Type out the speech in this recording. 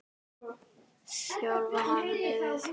Þjálfar hann liðið?